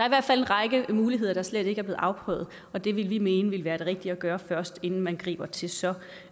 i hvert fald en række muligheder der slet ikke er blevet afprøvet og det ville vi mene ville være det rigtige at gøre først inden man griber til så